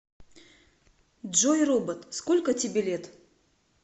джой робот сколько тебе лет